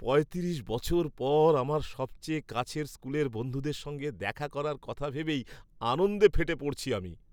পঁয়ত্রিশ বছর পর আমার সবচেয়ে কাছের স্কুলের বন্ধুদের সঙ্গে দেখা করার কথা ভেবেই আনন্দে ফেটে পড়ছি আমি।